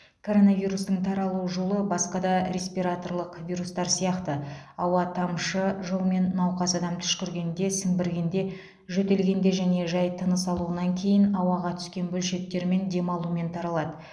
коронавирустың таралу жолы басқа да респираторлық вирустар сияқты ауа тамшы жолмен науқас адам түшкіргенде сіңбіргенде жөтелгенде және жай тыныс алуынан кейін ауаға түскен бөлшектермен дем алумен таралады